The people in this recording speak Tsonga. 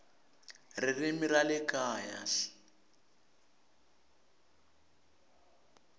ririmi ra le kaya hl